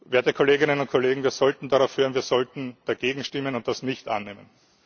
Werte Kolleginnen und Kollegen, wir sollten darauf hören, wir sollten dagegen stimmen und das nicht annehmen.